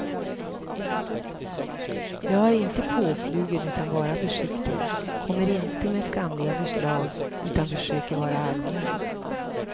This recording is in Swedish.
Jag är inte påflugen utan bara försiktig, kommer inte med skamliga förslag utan försöker vara allmän.